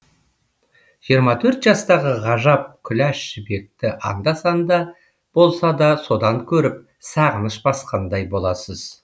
жиырма төрт жастағы ғажап күләш жібекті анда санда болса да содан көріп сағыныш басқандай боласыз